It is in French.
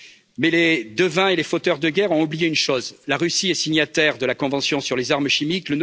Mais les devins et les fauteurs de guerre ont oublié une chose la Russie est signataire de la convention sur les armes chimiques.